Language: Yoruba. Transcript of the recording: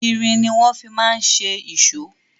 Irin ni wọ́n fi ma ń ṣe èṣó.